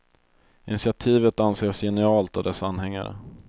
Initiativet anses genialt av dess anhängare.